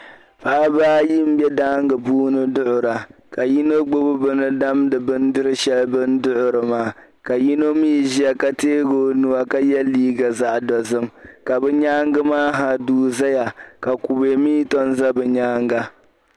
Paɣ'ba ayi n bɛ daaŋa puuni duɣira ka yino gbubi bɛni damdi bindir'shɛli bɛni duɣiri maa ka yino mi ʒiya ka teei o nuu ka ye liiga zaɣ'dozim ka bɛ nyaaŋa maa ha duu zaya ka kupɛ mi tomi za bɛ nyaaŋa.